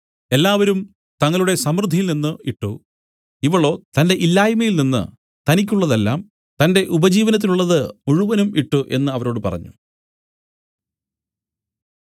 എല്ലാവരും തങ്ങളുടെ സമൃദ്ധിയിൽ നിന്നു ഇട്ട് ഇവളോ തന്റെ ഇല്ലായ്മയിൽ നിന്നു തനിക്കുള്ളതെല്ലാം തന്റെ ഉപജീവനത്തിനുള്ളത് മുഴുവനും ഇട്ട് എന്നു അവരോട് പറഞ്ഞു